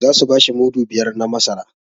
Za su bashi mudu biyar na masara